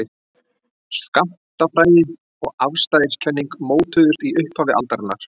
Skammtafræði og afstæðiskenning mótuðust í upphafi aldarinnar.